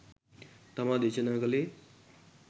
තමා දේශනා කළේ